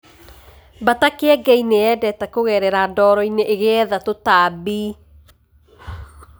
Mbata Kĩengei nĩ yendete kugerera ndoro-inĩ ĩgĩetha tũtambi.